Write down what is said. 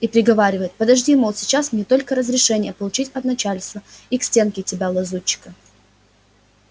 и приговаривает подожди мол сейчас мне только разрешение получить от начальства и к стенке тебя лазутчика